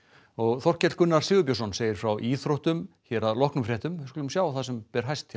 Þorkell Gunnar Sigurbjörnsson segir frá íþróttum hér að loknum fréttum við skulum sjá það sem ber hæst hjá